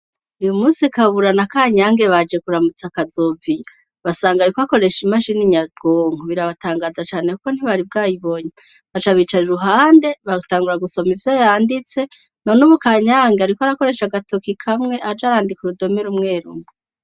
Uyu musi kabura na kanyange baje kuramutsa akazovi basanga, ariko akoresha imashi n'inyagonko birabatangaza cane, kuko ntibari bwayibonye hacabicara ruhande batangura gusoma ivyo yanditse none umu kanyange, ariko arakoreshe agatokikamwe aja arandika urudomera umwerumwe.